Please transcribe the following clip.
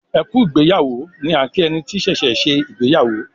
"ẹkú ìgbéyàwó" ni a kí ẹni tí ṣẹṣẹ ṣe ìgbéyàwó.